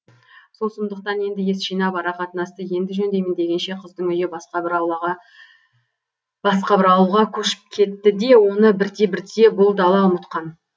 сол сұмдықтан енді ес жинап ара қатынасты енді жөндеймін дегенше қыздың үйі басқа бір ауылға басқа бір ауылға көшіп кетті де оны бірте бірте бұл дала ұмытқан